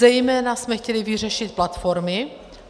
Zejména jsme chtěli vyřešit platformy.